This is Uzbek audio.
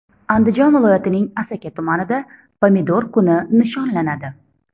Andijon viloyatining Asaka tumanida Pomidor kuni nishonlanadi.